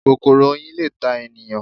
Kòkòrò Oyin le ta ènìyàn